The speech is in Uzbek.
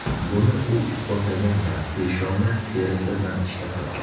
Buni u isbotlagan va peshona terisi bilan ishlab topgan.